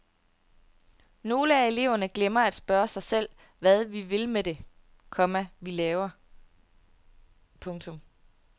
Nogle af eleverne glemmer at spørge sig selv hvad vi vil med det, komma vi laver. punktum